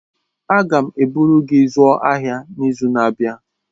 Aga m eburu gị zụọ ahịa n'izu na-abịa.